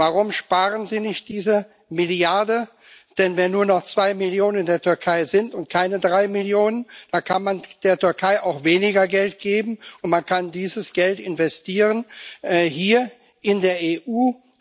Warum sparen Sie nicht diese Milliarde? Denn wenn nur noch zwei Millionen in der Türkei sind und keine drei Millionen, dann kann man der Türkei auch weniger Geld geben, und man kann dieses Geld investieren hier in der EU.